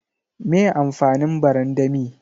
Me amfanin barandami?